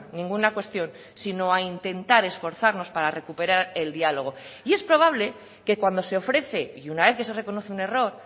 ninguna cuestión sino a intentar esforzarnos para recuperar el diálogo y es probable que cuando se ofrece y una vez que se reconoce un error